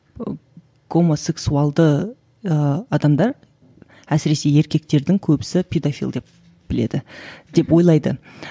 ы гомосексуалды ыыы адамдар әсіресе еркектердің көбісі педофиль деп біледі деп ойлайды